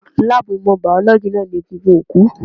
Láàbù ìmọ̀ Bíọ́lọ́gì náà ní egungun òkú.